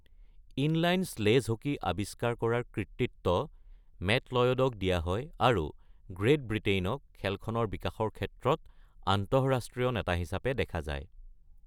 Inline sledge hockey আৱিষ্কাৰ কৰাৰ কৃতিত্ব মেট লয়ডক দিয়া হয় আৰু গ্ৰেট ব্ৰিটেইনক খেলখনৰ বিকাশৰ ক্ষেত্ৰত আন্তঃৰাষ্ট্ৰীয় নেতা হিচাপে দেখা যায়।